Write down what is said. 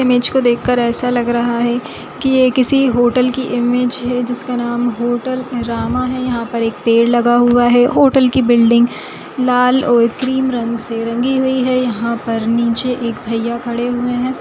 Image को देख कर ऐसा लग रहा है की ये किसी होटल की इमेज है जिसका नाम होटल रामा है यहाँ पर एक पेड़ लगा हुआ है होटल की बिल्डिंग लाल और क्रीम रंग से रंगी हुई है यहाँ पर निचे एक भइया खड़े हुए है।